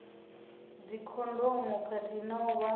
dzikhondomu khathihi na u vha